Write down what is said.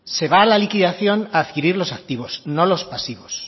se va a la liquidación a adquirir los activos no los pasivos